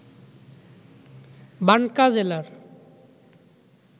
বানকা জেলার